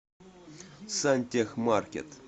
сантехмаркет